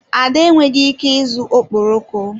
Ada enweghị ike ịzụ okporoko.